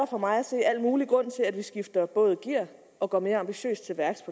for mig at se al mulig grund til at vi skifter gear og går mere ambitiøst til værks